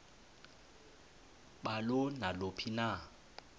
balo naluphi na